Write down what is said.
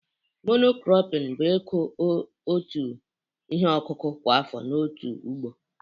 Monokropin bụ ịkọ otu ihe ọkụkụ kwa afọ n'otu ugbo